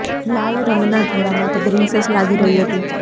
લાલ રંગના જોડામાં તે પ્રિંસેસ લાગી રહી હતી